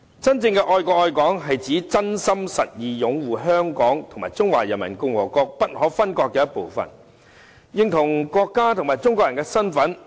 真正的愛國愛港是指真心實意擁護香港是中華人民共和國不可分割的一部分，認同國家及中國人的身份。